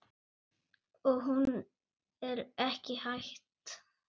Og hún er ekki hætt.